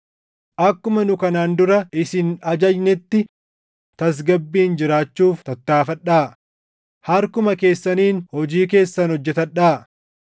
akkuma nu kanaan dura isin ajajnetti tasgabbiin jiraachuuf tattaaffadhaa; harkuma keessaniin hojii keessan hojjetadhaa;